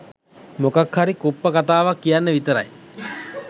මොකක්හරි කුප්ප කතාවක් කියන්න විතරයි